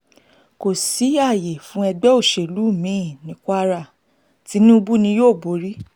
kò sí ààyè fún ẹgbẹ́ òṣèlú mi-ín ní kwara tinubu ni yóò borí